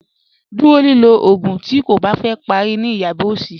Dúró lílọ̀ àwọn oogún tí ó kó bá fẹ́ pàrí ní yaba ọsì.